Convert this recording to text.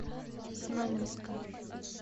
знаменска